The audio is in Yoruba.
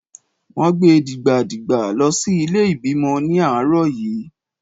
Wón gbe dìgbà dìgbà lọ sí ilé ìbímọ ní àárọ̀ yí.